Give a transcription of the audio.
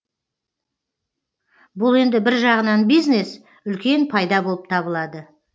бұл енді бір жағынан бизнес үлкен пайда болып табылады